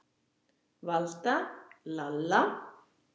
Valda, Lalla.